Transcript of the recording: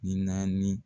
Ni naani